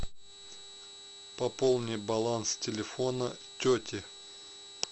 пополни баланс телефона тети